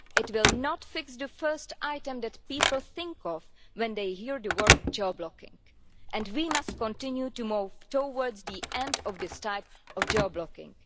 It will not fix the first item that people think of when they hear the word geo-blocking and we must continue to move towards the end of this type of geo-blocking.